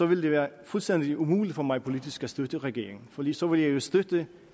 ville det være fuldstændig umuligt for mig politisk at støtte regeringen fordi så ville jeg jo støtte